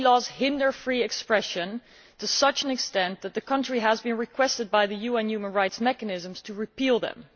Blasphemy laws hinder free expression to such an extent that the country has been requested by the UN Human Rights Mechanisms to repeal them.